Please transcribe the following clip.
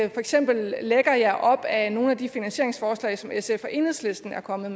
eksempel lægger jer op ad nogle af de finansieringsforslag som sf og enhedslisten er kommet